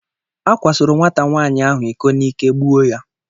A kwasoro nwata nwaanyị ahụ iko n'ike gbuo ya.